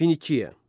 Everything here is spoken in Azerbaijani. Finikiya.